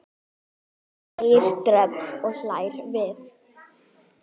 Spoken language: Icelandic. segir Dröfn og hlær við.